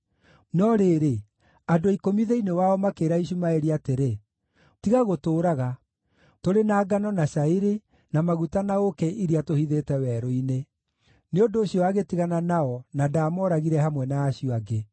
No rĩrĩ, andũ ikũmi thĩinĩ wao makĩĩra Ishumaeli atĩrĩ, “Tiga gũtũũraga! Tũrĩ na ngano na cairi, na maguta na ũũkĩ iria tũhithĩte werũ-inĩ.” Nĩ ũndũ ũcio agĩtigana nao na ndaamooragire hamwe na acio angĩ.